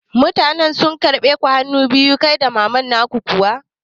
Mutanen sun karɓe ku hanu biyu kai da maman ka kuwa?